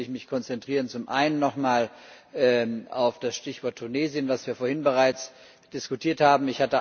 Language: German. Deswegen will ich mich konzentrieren zum einen nochmal auf das Stichwort Tunesien, was wir vorhin bereits diskutiert haben.